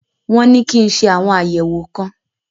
Wọn ní kí n ṣe àwọn àyẹ̀wò kan.